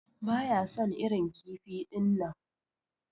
Baya son irin kifi dinnan.